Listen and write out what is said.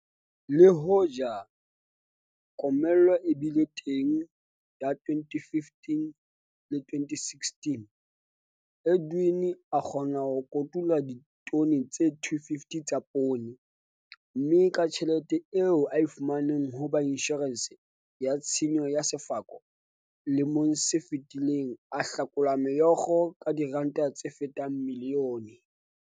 Le hoja komello e bile teng ya 2015-2016 Edwin a kgona ho kotula ditone tse 250 tsa poone, mme ka tjhelete eo a e fumaneng ho ba inshorense, ya tshenyo ya sefako, lemong se fetileng a hlakolwa meokgo ka diranta tse fetang milione.